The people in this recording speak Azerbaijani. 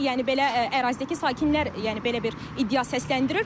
Yəni belə ərazidəki sakinlər yəni belə bir iddia səsləndirir.